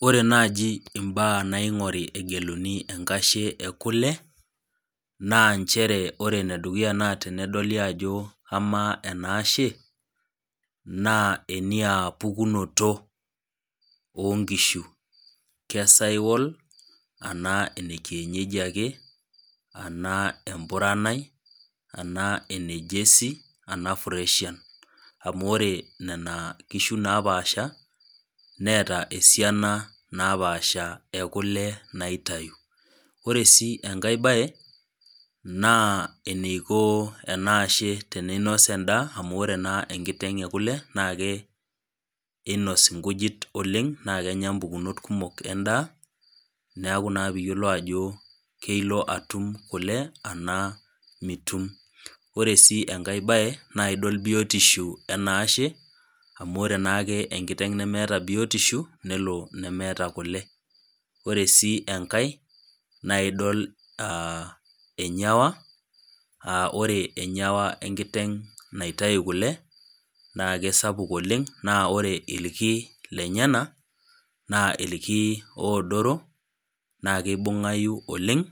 Ore naji imbaa naingori egeluni enkashe ekule naa nchere ore enedukuya naa tenedoli ajo amaa enaashe naa eniaapukunoto oonkishu, kesawal anaa inekienyeji ake anaa empurani anaa enejersey anaa fresian amu ore nena kishu napaasha neeta esiana napasha ekule naitayu . Ore sii enkae bae naa eneiko enaashe ninos endaa amuore naa enkiteng ekule na ke einos inkujit oleng naa kenya pukunot kumok endaa neaku naa piyiolou ajo kelo atum kule naa mitum , ore sii enkae bae naa idol biotisho enaashe amu ore naake enkiteng nemeeta biotisho nelo nemeeta kule , ore sii enkae naa idol enyewa , aa ore enyewa enkiteng naitai kule naa kesapuk oleng naa ore irki lenyenak naa irki oodoro naa kibungayu oleng ,